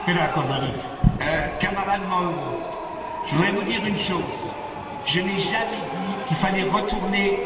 Camarade Mauro, je vais vous dire une chose je n'ai jamais dit qu'il fallait retourner à l'ancienne Constitution